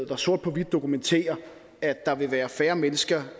der sort på hvidt dokumenterer at der vil være færre mennesker